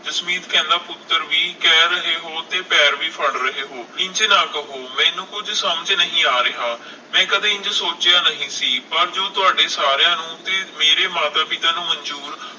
ਜਸਮੀਤ ਕਹਿੰਦਾ ਕਿ ਪੁੱਤਰ ਵੀ ਕਹਿ ਰਹੇ ਹੋ ਤੇ ਪੈਰ ਵੀ ਫੜ੍ਹ ਰਹੇ ਹੋ, ਇੰਜ ਨਾ ਕਹੋ ਮੈਨੂੰ ਕੁਝ ਸਮਝ ਨਹੀਂ ਆ ਰਿਹਾ ਮੈਂ ਕਦੇ ਇੰਝ ਸੋਚਿਆ ਨਹੀਂ ਸੀ, ਪਰ ਜੋ ਤੁਹਾਡੇ ਸਾਰਿਆਂ ਨੂੰ ਤੇ ਮੇਰੇ ਮਾਤਾ ਪਿਤਾ ਨੂੰ ਮੰਜੂਰ!